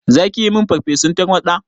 Zaki yi min farfesun tarwaɗa?